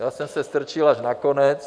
Já jsem se strčil až na konec.